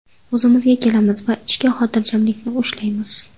O‘zimizga kelamiz va ichki xotirjamlikni ushlaymiz.